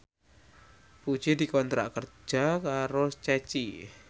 Puji dikontrak kerja karo Ceci